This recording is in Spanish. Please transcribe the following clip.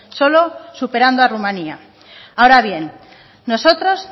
solo superando a rumania ahora bien nosotros